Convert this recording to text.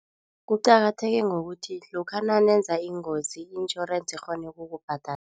Kuqakatheke ngokuthi lokha nanenza ingozi insurance ikghone ukukubhadala.